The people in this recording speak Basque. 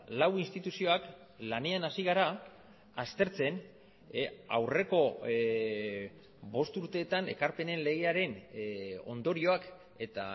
lau instituzioak lanean hasi gara aztertzen aurreko bost urteetan ekarpenen legearen ondorioak eta